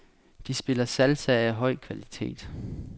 De spiller salsa af høj kvalitet.